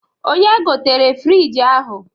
Onye gotere frịjị ahụ?